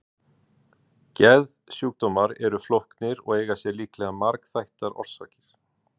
Geðsjúkdómar eru flóknir og eiga sér líklega margþættar orsakir.